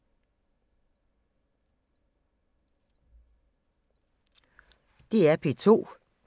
DR P2